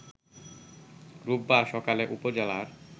রোববার সকালে উপজেলার